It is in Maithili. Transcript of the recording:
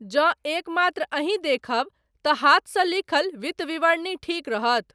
जँ एकमात्र अहीं देखब, तँ हाथसँ लिखल, वित्त विवरणी ठीक रहत।